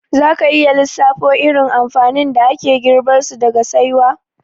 Za ka iya lissafo irin amfanin da ake girbarsu daga saiwa?